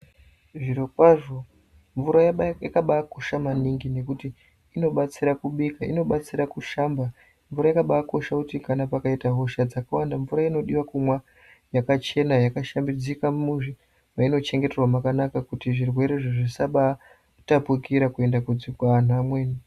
Zvirokwazvo mvura yakabakosha maningi nekuti inobatsira kubika, inobatsira kushamba, mvura yakabakosha kuti pakaita hosha dzakawanda mvura inodiwa kumwa yakachena yakashambidzika muzvi mainochengeterwa makanaka kuti zvirwere izvi zvisabataoukira kuenda kuanhu amweni.